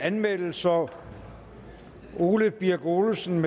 anmeldelser ole birk olesen